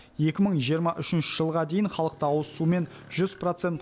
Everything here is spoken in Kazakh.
екі мың жиырма үшінші жылға дейін халықты ауызсумен жүз процент